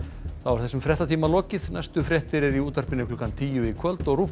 þessum fréttatíma er lokið næstu fréttir eru í útvarpinu klukkan tíu í kvöld og ruv